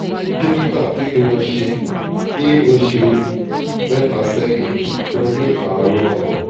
dókítà kí ni mo ṣe? ní oṣù um mẹ́ta sẹ́yìn mo ní àrùn ọkàn